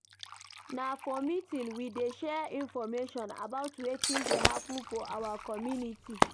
Na for meeting we dey share information about wetin dey happen for our community.